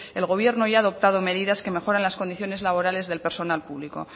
el gobierno ya ha adoptado medidas que mejoran las condiciones laborales del personal público